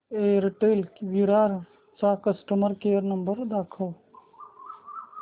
Airtel Virar चा customer care number दाखव